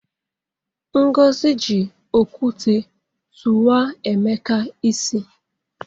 Ngozi ji okwute tụwa Emeka isi.